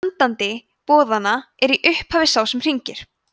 sendandi boðanna er í upphafi sá sem hringir